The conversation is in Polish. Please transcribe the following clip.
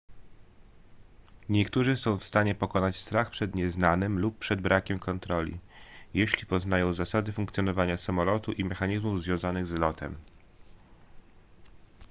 niektórzy są w stanie pokonać strach przed nieznanym lub przed brakiem kontroli jeśli poznają zasady funkcjonowania samolotu i mechanizmów związanych z lotem